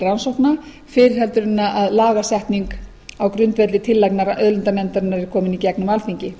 leyfi til rannsókna fyrr en lagasetning á grundvelli tillagna auðlindanefndarinnar er komin í gegnum alþingi